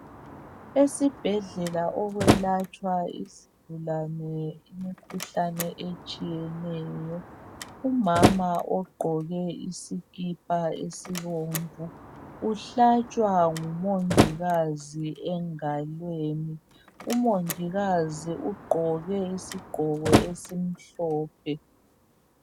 Esibhedlela okwelatshwa izigulane imikhuhlane etshiyeneyo. Umama ogqoke isikipa esibomvu uhlatshwa ngumongikazi engalweni. Umongikazi ugqoke isigqoko esimhlophe.